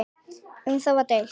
Um það var deilt.